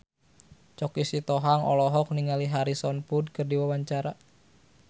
Choky Sitohang olohok ningali Harrison Ford keur diwawancara